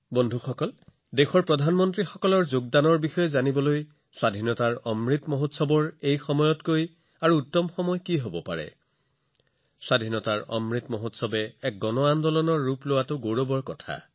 বন্ধুসকল দেশৰ প্ৰধানমন্ত্ৰীসকলৰ অৱদান মনত ৰাখিবলৈ স্বাধীনতাৰ অমৃত মহোৎসৱতকৈ ভাল সময় আৰু কি হব পাৰে এইটো দেশৰ বাবে গৌৰৱৰ বিষয় যে স্বাধীনতাৰ অমৃত মহোৎসৱে জন আন্দোলনৰ ৰূপ লৈছে